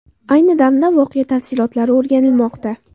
Ayni damda voqea tafsilotlari o‘rganilmoqda.